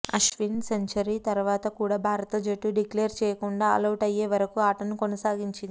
Ashwin century తర్వాత కూడా భారత జట్టు డిక్లేర్ చేయకుండా ఆలౌట్ అయ్యే వరకు ఆటను కొనసాగించింది